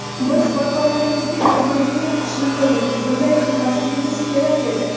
Biz vakolatimizga kirmaydigan ishni qildik, bunday qilmasligimiz kerak edi.